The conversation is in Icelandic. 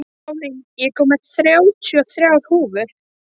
Pálín, ég kom með þrjátíu og þrjár húfur!